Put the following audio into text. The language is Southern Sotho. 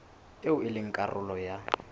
eo e leng karolo ya